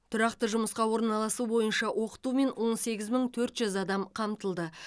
тұрақты жұмысқа ораналасу бойынша оқытумен он сегіз мың төрт жүз адам қамтылды